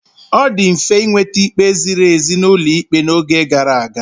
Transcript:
Ọ dị mfe ịnweta ikpe ziri ezi n'ụlọ ikpe n'oge gara aga.